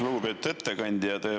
Lugupeetud ettekandja!